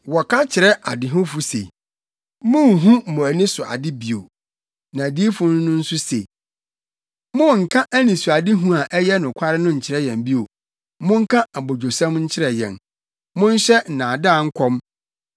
Wɔka kyerɛ adehufo se, “Munhu mo ani so ade bio!” ne adiyifo no nso se, “Monnka anisoadehu a ɛyɛ nokware no nkyerɛ yɛn bio! Monka abodwosɛm nkyerɛ yɛn, monhyɛ nnaadaa nkɔm.